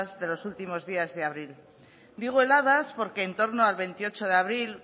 de los últimos días de abril digo heladas porque en torno al veintiocho de abril